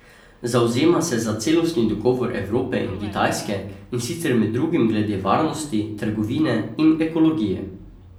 Zavzema se za celostni dogovor Evrope in Kitajske, in sicer med drugim glede varnosti, trgovine in ekologije.